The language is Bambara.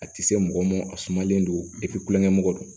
A tɛ se mɔgɔ ma a sumalen don kulonkɛ mɔgɔ don